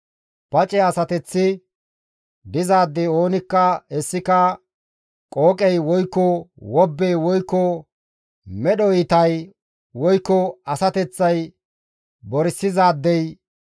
Pace asateththi dizaadey oonikka hessika qooqey woykko wobbey woykko medho iitay woykko asateththay borsizaadey,